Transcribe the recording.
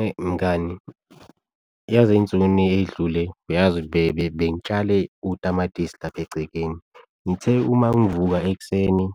Eyi mngani, yazi ey'nsukwini ey'dlule uyazi bengitshale utamatisi lapha egcekeni, ngithe uma ngivuka ekuseni